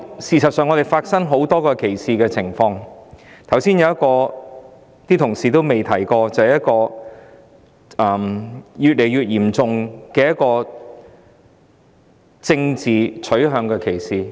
事實上，香港發生很多歧視情況，其中一個同事未有提及的情況，就是越來越嚴重的政治傾向歧視。